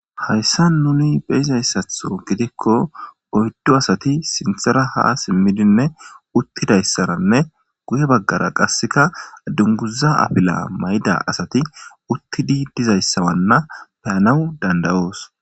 Hayssa nuni beyizayssatho gidikko oyddo asati sinthera ha simmidinne uttidayssaranne guye baggara qasseka dunguza apila mayda asati uttidi dizayssawanna peyanawu dandayoos.